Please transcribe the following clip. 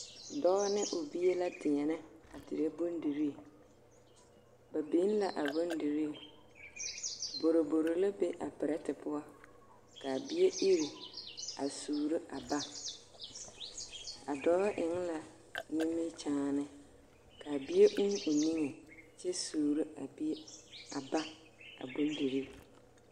Dɔɔ ne o bie la deɛnɛ a dire bondirii, ba biŋ la a bondirii, boroboro la be a pɛrɛtɛ poɔ k'a bie iri a suuro a ba, a dɔɔ eŋ la nimikyaane k'a bie ūū o niŋe kyɛ suuro a bie a ba a bondirii.